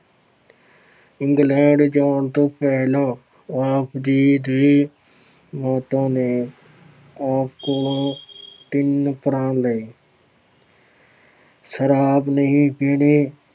England ਜਾਣ ਤੋਂ ਪਹਿਲਾਂ ਆਪ ਜੀ ਦੀ ਮਾਤਾ ਨੇ ਆਪ ਕੋਲੋਂ ਤਿੰਨ ਪ੍ਰਣ ਲਏ ਸਰਾਬ ਨਹੀਂ ਪੀਣੀ,